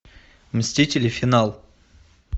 мстители финал